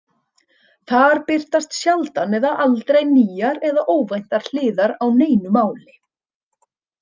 Þar birtast sjaldan eða aldrei nýjar eða óvæntar hliðar á neinu máli.